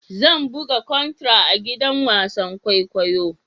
Zan buga contra a gidan wasan kwaikwayo.